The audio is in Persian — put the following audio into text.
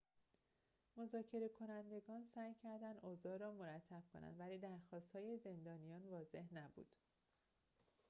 مذاکره‌کنندگان سعی کردند اوضاع را مرتب کنند ولی درخواست‌های زندانیان واضح نبود